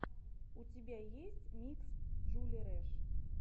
у тебя есть микс джули рэш